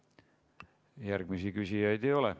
Järgmisi küsijaid ei ole.